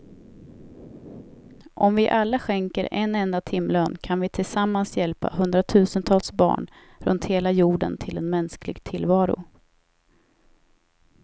Om vi alla skänker en enda timlön kan vi tillsammans hjälpa hundratusentals barn runt hela jorden till en mänsklig tillvaro.